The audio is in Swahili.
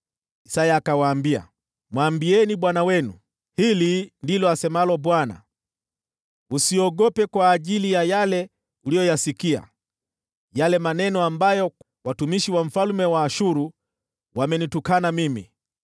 Isaya akawaambia, “Mwambieni bwana wenu, ‘Hili ndilo asemalo Bwana : Usiogope kwa hayo uliyoyasikia, yale maneno ambayo watumishi wa mfalme wa Ashuru wamenitukana nayo.